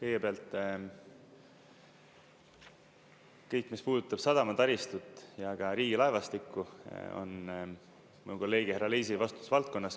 Kõigepealt, kõik, mis puudutab sadama taristut ja ka riigilaevastikku, on mu kolleegi härra Leisi vastutusvaldkonnas.